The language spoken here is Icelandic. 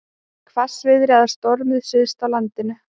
Hvassviðri eða stormur syðst á landinu